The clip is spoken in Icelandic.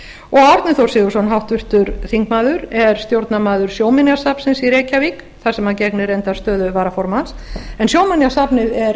og árni þór sigurðsson háttvirtur þingmaður er stjórnarmaður sjóminjasafnsins þar sem hann gegnir reyndar stöðu varaformanns en sjóminjasafnið er